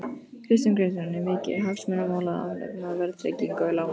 Kristján Kristjánsson: Er mikið hagsmunamál að afnema verðtryggingu lána?